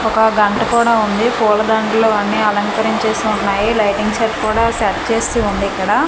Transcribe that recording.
ఒక గంట కూడా ఉంది పూలదండలు అన్నీ అలంకరించేసి ఉన్నాయి లైటింగ్ సెట్ కూడా సెట్ చేసి ఉందిక్కడ.